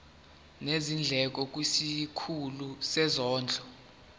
nezindleko kwisikhulu sezondlo